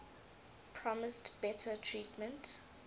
promised better treatment